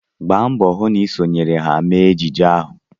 Gba mbọ hụ na ị sonyere ha mee ejije ahụ!